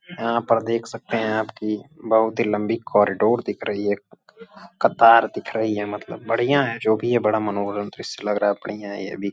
यहाँ पर देख सकते हैं कि आप कि बहोत ही लम्बी कॉरिडोर दिख रही है कतार दिख रही है मतलब बढियां है जो भी है बड़ा मनोहरम दृश्य लग रहा है। बढियां है यह भी --